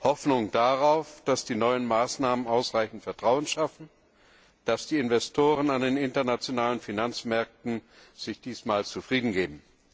Hoffnung darauf, dass die neuen Maßnahmen ausreichend Vertrauen schaffen, dass die Investoren an den internationalen Finanzmärkten sich diesmal zufriedengeben.